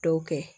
Dɔw kɛ